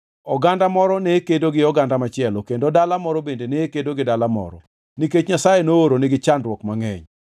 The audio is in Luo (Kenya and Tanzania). Oganda moro ne kedo gi oganda machielo kendo dala moro bende ne kedo gi dala moro, nikech Nyasaye nooronigi chandruok mangʼeny.